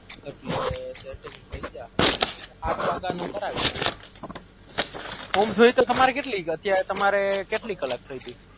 એટલે ઓમ જાય તો કેટલી કલાક થઇ તી